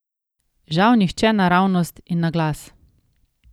Žal nihče naravnost in naglas.